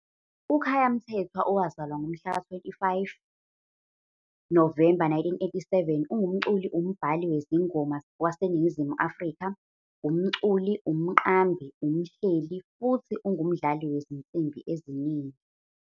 UKhaya Mthethwa, owazalwa ngomhlaka-25 Novemba 1987, ungumculi-umbhali wezingoma waseNingizimu Afrika, umculi, umqambi, umhleli, futhi ungumdlali wezinsimbi eziningi.